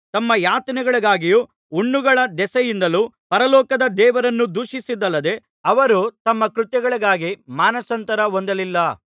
ತಮ್ಮ ಯಾತನೆಗಳಿಗಾಗಿಯೂ ಹುಣ್ಣುಗಳ ದೆಸೆಯಿಂದಲೂ ಪರಲೋಕದ ದೇವರನ್ನು ದೂಷಿಸಿದಲ್ಲದೆ ಅವರು ತಮ್ಮ ಕೃತ್ಯಗಳಿಗಾಗಿ ಮಾನಸಾಂತರ ಹೊಂದಲಿಲ್ಲ